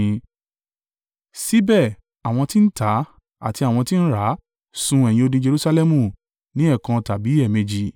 Síbẹ̀, àwọn tí ń tà àti àwọn tí ń rà sùn ẹ̀yìn odi Jerusalẹmu ní ẹ̀ẹ̀kan tàbí ẹ̀ẹ̀mejì.